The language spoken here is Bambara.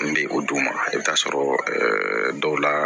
N bɛ o d'u ma i bɛ taa sɔrɔ ɛɛ dɔw la